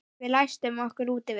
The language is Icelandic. Við læstum okkur úti við